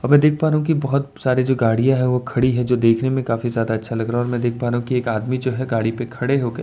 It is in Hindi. और मैं देख पा रहा हूं कि बोहोत सारे जो गाड़ियां है वो खड़ी है जो देखने में काफी ज्यादा अच्छा लग रहा है और मैं देख पा रहा हूं कि एक आदमी जो है गाड़ी पर खड़े होके --